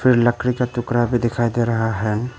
लकड़ी का टुकड़ा भी दिखाई दे रहा है।